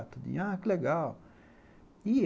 Ah, que legal.